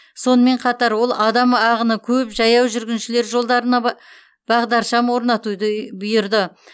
сонымен қатар ол адам ағыны көп жаяу жүргіншілер жолдарына ба бағдаршам орнатуды бұйырды